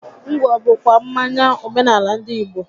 Ngwọ bụ kwa mmanya omenaala ndị Igbo